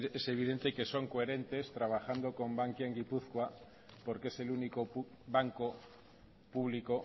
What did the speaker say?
es evidente que son coherentes trabajando con bankia en gipuzkoa porque es el único banco público